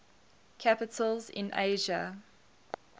capitals in asia